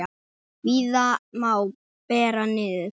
Víða má bera niður.